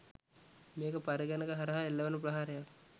මේක පරිගණක හරහා එල්ල වන ප්‍රහාරයක්.